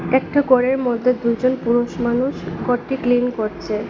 একটি ঘরের মধ্যে দুজন পুরুষ মানুষ ঘরটি ক্লিন করছে।